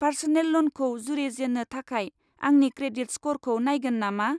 Personal ल'नखौ जुरिजेननो थाखाय आंनि क्रेडिट स्क'रखौ नायगोन नामा?